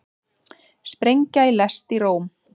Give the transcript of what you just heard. Sprengja í lest í Róm